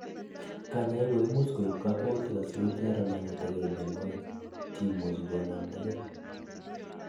kanyoik koimuch koib kokwautik asikoter amaletagei mionwek cheimuchei kinamdagei